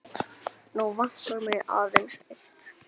Nú vantar mig aðeins eitt!